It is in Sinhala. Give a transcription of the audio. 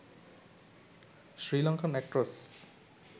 sirlankan actress